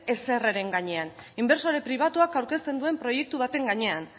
ezerreren gainean inbertsore pribatuak aurkezten duen proiektu baten gainean